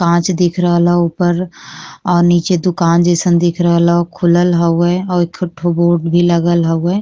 कांच दिख रहल हअ ऊपर और नीचे दुकान जईसन दिख रहल हअ खुलल हउए और एके ठो बोर्ड भी लगल हउए।